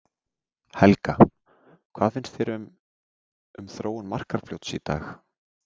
Helga: Hvað finnst þér um, um þróun Markarfljóts í dag?